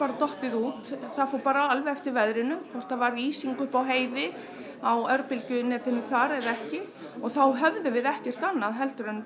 dottið út það fór alveg eftir veðrinu hvort það var ísing uppi á heiði á þar eða ekki og þá höfðum við ekkert annað heldur en